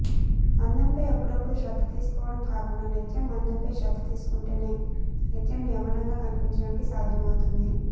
అందంపై అప్పుడప్పుడూ శ్రద్ధ తీసుకోవడం కాకుండా నిత్యం అందంపై శ్రద్ధ తీసుకుంటేనే నిత్యం యవ్వనంగా కనిపించడానికి సాధ్యం అవుతుంది